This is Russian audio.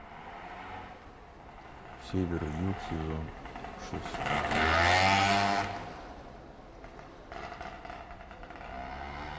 север и юг сезон шесть